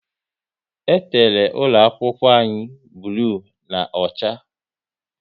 E tere ụlọ akwụkwọ anyị bloo na ocha